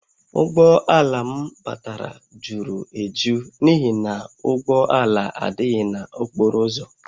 Ụgbọ ala m batara juru eju n’ihi na ụgbọ ala adịghị n’okporo ụzọ